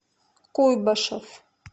куйбышев